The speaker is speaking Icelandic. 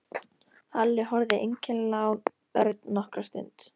Halli horfði einkennilega á Örn nokkra stund.